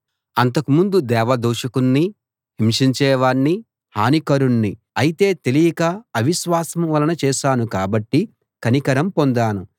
అంతకు ముందు దేవ దూషకుణ్ణి హింసించేవాణ్ణి హానికరుణ్ణి అయితే తెలియక అవిశ్వాసం వలన చేశాను కాబట్టి కనికరం పొందాను